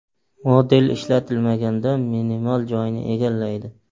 Model ishlatilmaganda minimal joyni egallaydi.